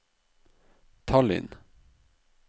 Tallinn